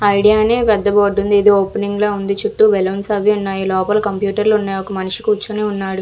Idea అని పెద్ద board ఉంది ఏదో ఓపెనింగ్ ల ఉంది చుట్టూ బలౌన్స్ అవి ఉన్నాయి లోపల కంప్యూటర్లు అవి ఉన్నాయి ఒక మనిషి కూర్చొని ఉన్నాడు.